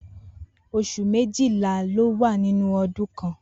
Os̩ù méjìlá ló wà nínú o̩dún kan